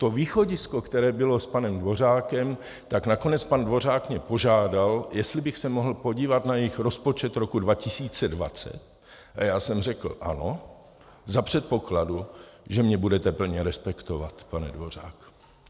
To východisko, které bylo s panem Dvořákem, tak nakonec pan Dvořák mě požádal, jestli bych se mohl podívat na jejich rozpočet roku 2020, a já jsem řekl: Ano, za předpokladu, že mě budete plně respektovat, pane Dvořáku.